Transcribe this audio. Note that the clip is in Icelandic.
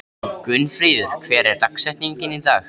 Gunnfríður, hver er dagsetningin í dag?